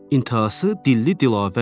İntəhası dilli-dilavərdir.